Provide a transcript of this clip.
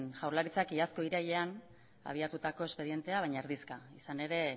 zen jaurlaritzak iazko irailean abiatutako espedientea baina izan ere